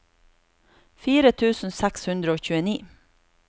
fire tusen seks hundre og tjueni